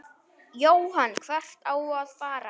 Jóhann: Hvert á að fara?